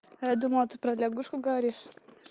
я думала ты про лягушку говоришь